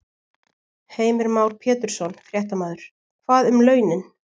Heimir Már Pétursson, fréttamaður: Hvað um launin?